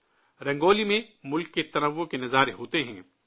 رنگولی میں ملک کی تکثیریت کا نظارہ دیکھنے کو ملتا ہے